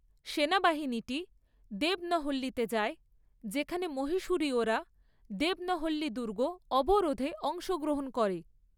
সেনাবাহিনীটি দেবনহল্লিতে যায়, যেখানে মহীশূরীয়রা দেবনহল্লি দুর্গ অবরোধে অংশগ্রহণ করে।